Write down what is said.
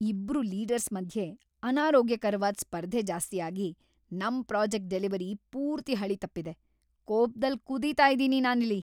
ಇಬ್ರು ಲೀಡರ್ಸ್ ಮಧ್ಯೆ ಅನಾರೋಗ್ಯಕರ್ವಾದ್ ಸ್ಪರ್ಧೆ ಜಾಸ್ತಿ ಆಗಿ ನಮ್ ಪ್ರಾಜೆಕ್ಟ್ ಡೆಲಿವರಿ ಪೂರ್ತಿ ಹಳಿ ತಪ್ಪಿದೆ.. ಕೋಪ್ದಲ್ ಕುದೀತಾ ಇದೀನಿ ನಾನಿಲ್ಲಿ.